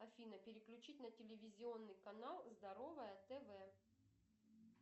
афина переключить на телевизионный канал здоровое тв